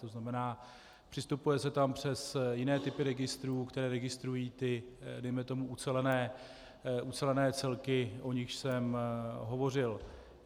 To znamená, přistupuje se tam přes jiné typy registrů, které registrují ty dejme tomu ucelené celky, o nichž jsem hovořil.